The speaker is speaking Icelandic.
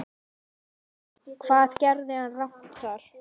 Hvað gerði hann rangt þar?